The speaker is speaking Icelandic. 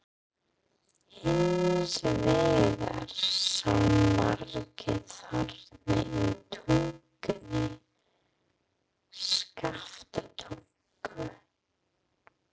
Hins vegar sáu margir þarna í Tungunni, Skaftártungu.